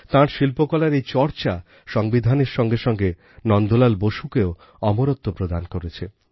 তাঁর শিল্পকলার এই চর্চা সংবিধানের সঙ্গে সঙ্গে নন্দলাল বোসকেও অমরত্ব প্রদান করেছে